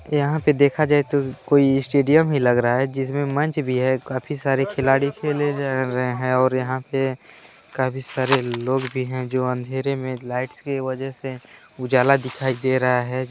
यहाँ पे देखा जाए तो कोई स्टेडियम ही लग रहा है जिसमें मंच भी है काफी सारे खिलाड़ी खेले जा रहे हैं और यहाँ पाय और यहाँ पे काफी सरे लोग भी हैं जो अँधेरे में लाइट्स की वजह से उजाला दिखाई दे रहा हैं।